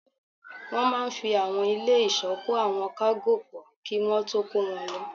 Wọ́n máa n fi àwọn ilé ìsọ́ kó àwọn kágò pọ̀ kí wọ́n tó kó wọn lọ